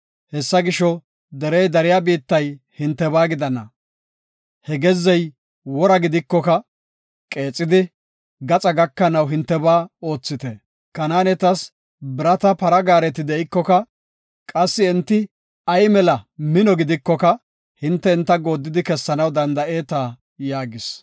Hessa gisho, derey dariya biittay hintebaa gidana. He gezzey wora gidikoka qeexidi, gaxa gakanaw hintebaa oothite. Kanaanetas birata para gaareti de7ikoka, qassi enti ay mino gidikoka hinte enta gooddidi kessanaw danda7eeta” yaagis.